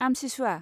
आमसिसुवा